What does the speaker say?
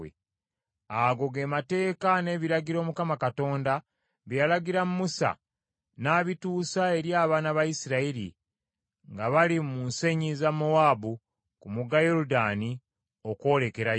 Ago ge mateeka n’ebiragiro Mukama Katonda bye yalagira Musa n’abituusa eri abaana ba Isirayiri nga bali mu nsenyi za Mowaabu ku mugga Yoludaani okwolekera Yeriko.